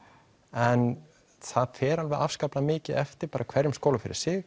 en það fer alveg afskaplega mikið eftir bara hverjum skóla fyrir sig